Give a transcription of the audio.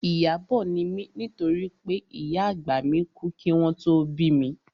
Ìyábọ̀ ni mí nítorí pé ìyá àgbà mi kú kí wọn tó bí mi